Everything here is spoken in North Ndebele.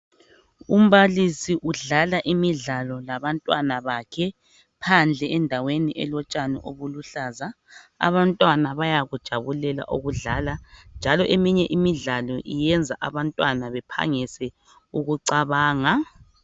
Umbalisi udlala imidlalo labantwana bakhe ,phandle endaweni elotshani obuluhlaza . Abantwana bayakujabulela ukudlala njalo eminye imidlalo iyenza abantwana bephangise ukucabanga.